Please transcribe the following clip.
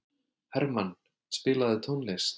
Hermann, spilaðu tónlist.